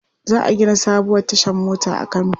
Za a gina sabuwar tashar mota a Kano.